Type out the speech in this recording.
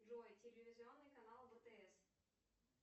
джой телевизионный канал втс